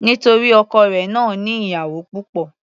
Nítorí ọkọ rẹ̀ náà ní ìyàwó púpọ̀.